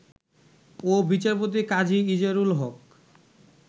ও বিচারপতি কাজী ইজারুল হক